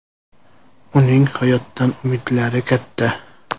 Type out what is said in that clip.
Uning hayotdan umidlari katta.